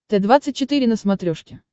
т двадцать четыре на смотрешке